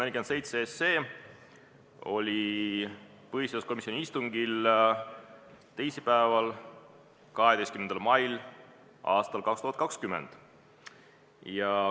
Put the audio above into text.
Eelnõu 147 oli põhiseaduskomisjoni istungil arutusel teisipäeval, 12. mail aastal 2020.